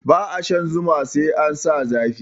Ba a shan zuma sai an sa zafi